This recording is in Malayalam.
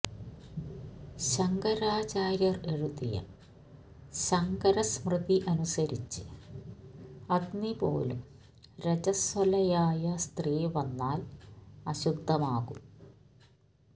ശങ്കരാചര്യർ എഴുതിയ ശങ്കരസ്മൃതി അനുസരിച്ച് അഗ്നിപോലും രജസ്വലയായ സ്ത്രീ വന്നാൽ അശുദ്ധമാകും